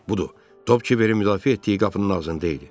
Budur, top Kiberin müdafiə etdiyi qapının ağzında idi.